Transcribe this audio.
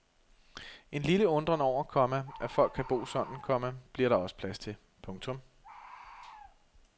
En lille undren over, komma at folk kan bo sådan, komma bliver der også plads til. punktum